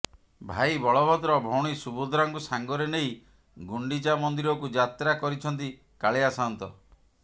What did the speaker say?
ଭାଇ ବଳଭଦ୍ର ଭଉଣୀ ସୁଭଦ୍ରାଙ୍କୁ ସାଙ୍ଗରେ ନେଇ ଗୁଣ୍ଡିଚା ମନ୍ଦିରକୁ ଯାତ୍ରା କରିଛନ୍ତି କାଳିଆ ସାଆନ୍ତ